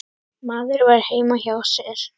Maður var heima hjá sér.